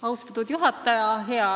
Austatud juhataja!